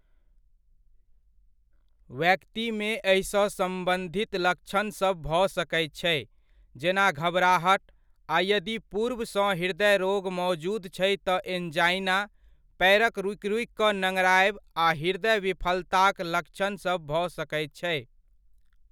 व्यक्तिमे एहिसँ सम्बन्धित लक्षणसभ भऽ सकैत छै, जेना घबराहट, आ यदि पूर्व सँ हृदय रोग मौजूद छै तऽ एनजाइना, पएरक रुकि रुकि कऽ नङ्गड़ायब आ हृदय विफलताक लक्षण भऽ सकैत छै।